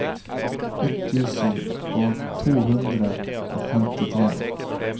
ett tusen to hundre og trettifem